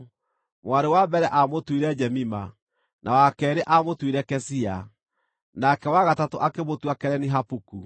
Mwarĩ wa mbere aamũtuire Jemima, na wa keerĩ aamũtuire Kezia, nake wa gatatũ akĩmũtua Kereni-Hapuku.